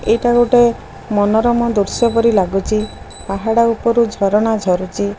ଏଇଟା ଗୋଟେ ମନୋରମ ଦୃଶ୍ୟ ପରି ଲାଗୁଚି ପାହାଡ ଉପୁରୁ ଝରଣା ଝରୁଚି।